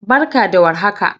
Barka da warhaka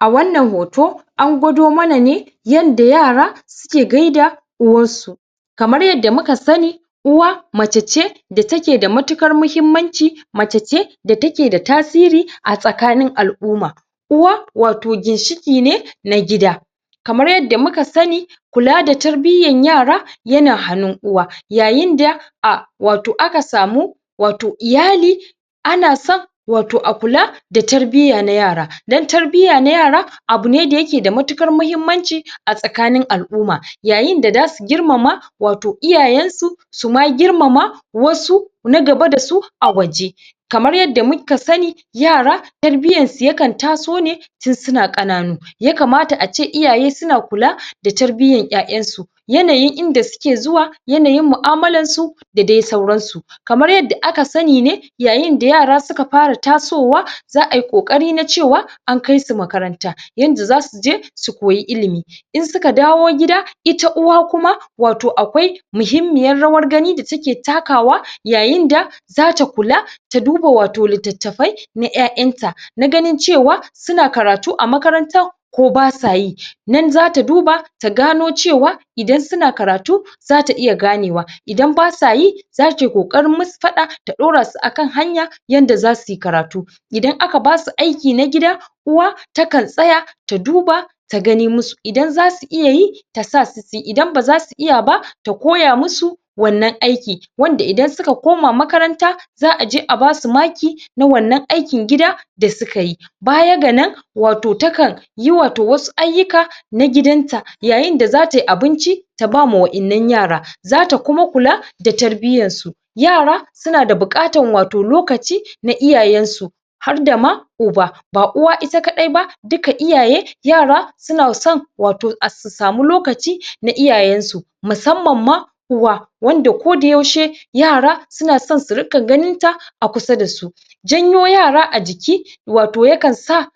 a wannan hoto an gwado mana ne yanda tara suke gaida uwarsu kamar yadda muka sani uwa mace ce da take da matuƙan muhimmanci mace ce da take da tasiri a tsakanin alʼumma uwa wato ginshiki ne na gida kamar yadda muka sani kula da tarbiyyar yara yana hannun uwa yayin da a wato aka samu wato iyali ana son wato a kula da tarbiyya na yara don tarbiyya na yara abu ne da yake da matuƙan muhimmanci a tsakanin alʼumma yayin da zasu girmama wato iyayensu suma girmama wasu na gaba dasu a waje kamar yadda muka sani yara tarbiyyan su yakan taso ne ton suna ƙananu ya kamata ace iyaye suna kula da tarbiyyan ƴaƴansu yana yin ida suke zuwa yanayi muʼamalar su da dai sauransu kamar yadda aka sani ne yayin da yara suka fara tasowa zaʼai ƙokari na cewa an kaisu makaranta yanda zasu je su koyi ilimi in suka dawo gida ita uwa kuma wato akwai muhimmiyar rawar gani da take takawa yayida zata kula ta duba wato littattafai na ƴaƴanta na ganin cewa suna karatu a makaranta ko basayi nan zata duba ta gano cewa idan suna karatu zata iya ganewa idan basayi zatai ƙoƙarin musu faɗa ta ɗaurasu akan hanya yanda zasui karatu idan aka basu aiki na gida uwa takan tsaya ta duba ta gani musu idan zasu iya yi tasa su suyi idan bazasu iya ba ta koya musu wannan aiki wanda idan suka koma makaranta zaʼa je a basu maki na wannan aikin gida da sukayi baya ga nan wato takan yi wato wasu ayyuka na gidanta yayin da zatai abinci ta bama waƴannan yara zata kuma kula da tarbiyyan su yara wato suna da buƙatan lokaci na iyayen su harda ma uba ba uwa ita kaɗai ba duka iyaye yara suna son wato su samu lokaci na iyayen su musammam ma uwa wanda koda yaushe yara suna son su riƙa ganinta a kusa da su janyo yara a jiki wato yakan sa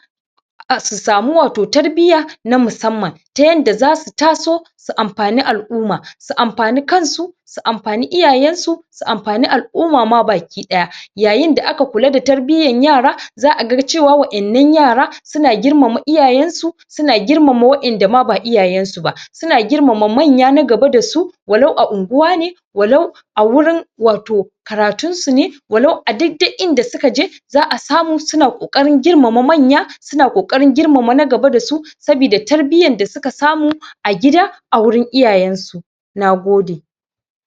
su sami wato tarbiyya na musamman ta yanda zasu taso su amfani alʼumma su amfani kansu su amfani iyayensu su amfani alʼumma ma baki ɗaya yayin da aka kula da tarbiyyan yara zaʼaga cewa waƴannan yara suna girmama iyayen su suna gimama waƴan dama ba iyayen su ba suna girmama manya na gaba dasu walau a unguwa ne walau a gurin wato karatun su ne walau a duk dai inda suka je zaʼa samu suna ƙoƙarin girmama manya suna ƙoƙarin girmama na gaba dasu sabidda tarbiyyar da suka samu a gida a gurin iyayen su nagode